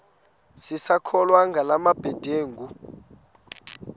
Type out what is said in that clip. sisakholwa ngala mabedengu